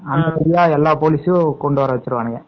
எல்லா போலீஸ்யும் வரவச்சுருவாங்க.